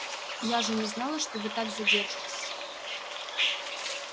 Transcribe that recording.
я же не знала что вы так задержитесь